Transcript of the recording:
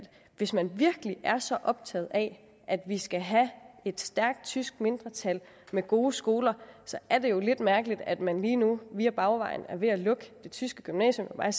hvis man virkelig er så optaget af at vi skal have et stærkt tysk mindretal med gode skoler er det jo lidt mærkeligt at man lige nu via bagvejen er ved at lukke det tyske gymnasium og jeg